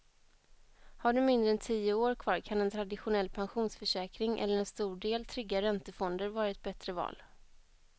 Har du mindre än tio år kvar kan en traditionell pensionsförsäkring eller en stor del trygga räntefonder vara ett bättre val.